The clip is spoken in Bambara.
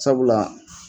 Sabula